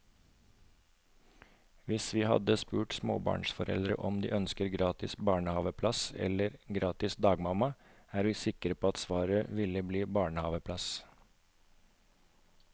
Hvis vi hadde spurt småbarnsforeldre om de ønsker gratis barnehaveplass eller gratis dagmamma, er vi sikre på at svaret ville bli barnehaveplass.